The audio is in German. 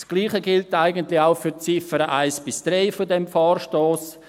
Das Gleiche gilt eigentlich auch für die Ziffern 1 bis 3 dieses Vorstosses.